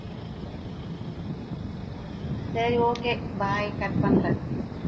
சரி okay bye cut பண்றேன்